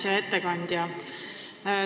Hea ettekandja!